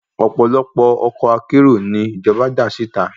Ọ̀pọ̀lọpọ̀ ọkọ̀ akérò ni ìjọba dá síta